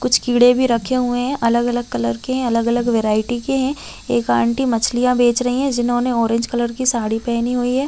--कुछ कीड़े भी रखे हुए है अलग अलग कलर के है अलग अलग वैरायटी है एक आंटी मछलियाँ बेच रही है जिन्होंने ऑरेंज कलर की साड़ी पेहनी हुई है।